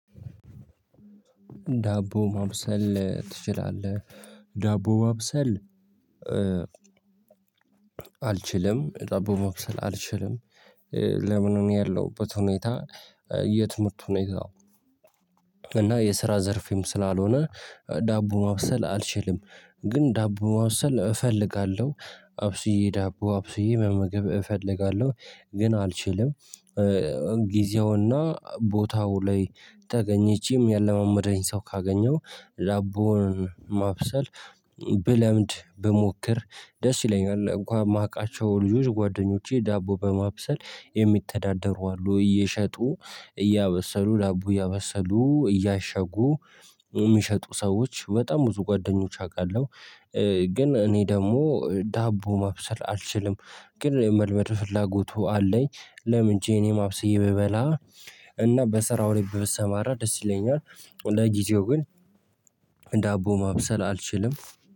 ዳቦ ማብሰል ትችላለህ ዳቦ ማብሰል አልችልም ዳቦ ማብሰል አልችልም። ለምን? እኔ ያለሁበት ሁኔታ የትምህርት ሁኔታ ነው። እና የስራ ዘርፊም ስላልሆነ ዳቦ ማብሰል አልችልም። ግን ዳቦ ማብሰል እፈልጋለሁ አብስየ ዳቦ አብስየ መመገብ እፈልጋለሁ ግን አልችልም። ጊዜውና ቦታው ላይ ተገኝቼም እሚያለማምደኝ ሰው ካገኘው ዳቦን ማብሰል። ብለምድ ብሞክር ደስ ይለኛል። እንኳን የማውቃቸው ልጆች ጓደኞቼ ዳቦ በማብሰል የሚተዳደሩ አሉ እየሸጡ እያበሰሉ ዳቦ እያበሰሉ እያሸጉ እሚሸጡ ሰዎች በጣም ብዙ ጓደኞች አውቃለሁ። ግን እኔ ደግሞ ዳቦ ማብሰል አልችልም። ግን መልመድ ፍላጎቱ አለኝ። ለምን? ችየ እኔም ማብሰይ ብበላ እና በስራው ላይ ብሰማራ ደስ ይለኛል። ለጊዜው ግን ዳቦ ማብሰል አልችልም